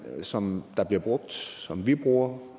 som der bliver brugt som vi bruger